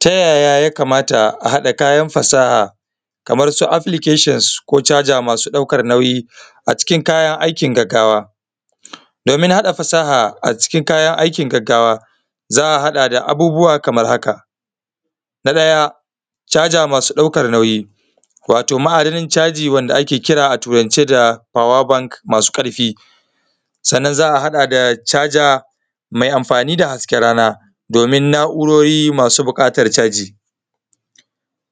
Tayaya ya kamata a haɗa kayan fasaha? Kaman su aflikashin ko? Ko carja masu ɗaukan nauyi a cikin kayan aiki gaggawa? Domin haɗa fasaha a cikin kayan aikin gaggawa za a haɗa da abubuwa kaman haka: Na ɗaya carja masu ɗauka nauyi, wato ma’adanin carji wanda ake kira a turance da ( power bank) masu ƙarfi, sannan za a haɗa da charge mai amfani da hasken rana domin na’urori masu buƙatar carji.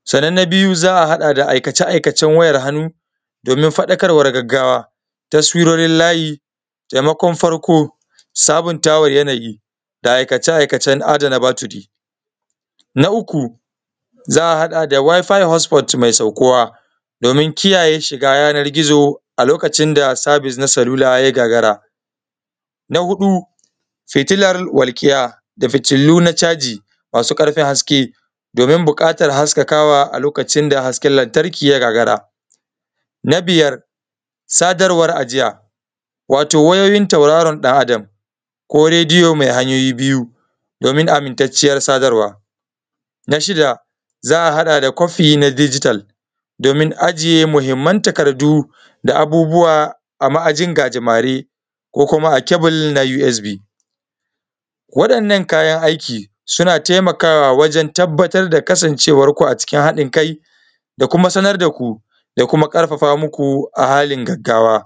Sannan na biyu za a haɗa da aikace-aikacen wayar hannu, domin faɗakarwar gaggawa, taswirorin layi, taimakon farko sabuntawa yanayi, da aikace-aikacen adana batiri. Na uku za a haɗa da waifa hosfot mai saukuwa, domin kiyayye shiga yanar gizo a lokacin da sabis na salulu ya gagara. Na huɗu hitilar walkiya da fitulu na caji, masu ƙarfin haske, domin buƙatan haskakawa a lokacin da hasken lantarki ya gagara. Na biyar sadarwar ajiya, wato wayoyyin tauraron ɗan Adam ko rediyo mai hanyoyi biyu, domin amintacciyar sadarwa. Na shida za a haɗa da kofi na jigital, domin aje muhimman takardu, da abubuwa a ma’ajin gajimare ko kuma a kebil na USB. Wa’innan kayan aiki, suna taimakawa wajeb tabbatar da kasancewanku a cikin haɗin kai da kuma sanar daku da kuma ƙarfafa muku a halin gaggawa.